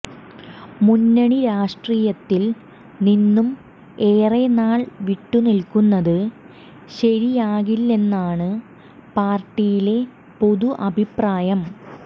മുന്നണി രാഷ്ട്രീയത്തിൽ നിന്നും ഏറെ നാൾ വിട്ടു നിൽക്കുന്നത് ശരിയാകില്ലെന്നാണ് പാർട്ടിയിലെ പൊതു അഭിപ്രായം